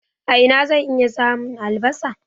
A ina zan iya samun albasa?